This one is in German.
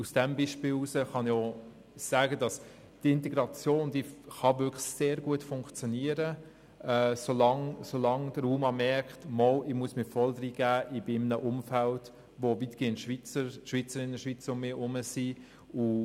Aus Erfahrung mit diesem Beispiel kann ich auch sagen, dass die Integration wirklich sehr gut funktionieren kann, solange der UMA merkt, dass er sich wirklich voll engagieren muss und realisiert, dass er in einem Umfeld lebt, in dem er weitgehend von Schweizern und Schweizerinnen umgeben ist.